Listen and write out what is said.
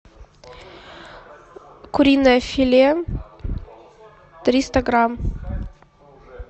куриное филе триста грамм